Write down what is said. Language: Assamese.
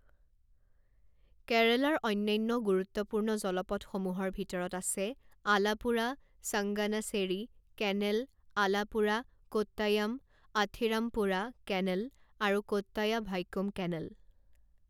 কেৰালাৰ অন্যান্য গুৰুত্বপূৰ্ণ জলপথসমূহৰ ভিতৰত আছে আলাপুড়া চাংগানাছেৰী কেনেল আলাপুড়া কোট্টায়াম আথিৰাম্পুড়া কেনেল আৰু কোট্টায়া ভাইকোম কেনেল।